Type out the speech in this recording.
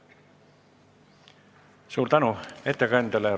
Suur tänu ettekandjale!